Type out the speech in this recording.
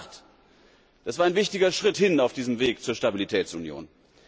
Gestern Nacht das war ein wichtiger Schritt hin auf diesem Weg zur Stabilitätsunion.